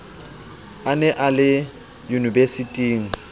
a ne a le unibesiting